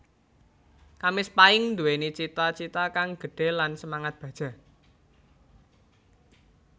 Kamis Pahing Nduwéni cita cita kang gedhe lan semangat baja